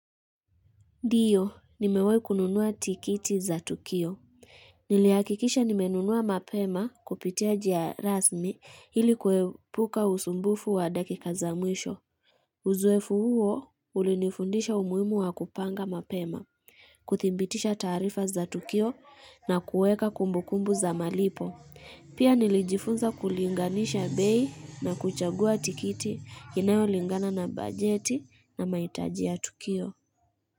Dio, nimewe kununua tikiti za Tukio. Nilihakikisha nimenunua mapema kupitia jiarasmi hili kuepuka usumbufu wa dakikazamwisho. Uzoefu huo ulinifundisha umuimu wa kupanga mapema, kuthimbitisha tarifa za Tukio na kuweka kumbukumbu za malipo. Pia nilijifunza kulinganisha bei na kuchagua tikiti inayo lingana na bajeti na maitajia Tukio.